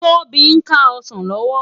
Tobi n ká òsán lòwò